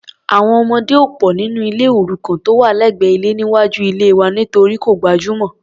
Àwọn ọmọdé ò pò nínú ilé òrukàn tó wà lẹ́gbẹ́ ilé níwájú ilée wa nítorí kò gbajúmọ̀.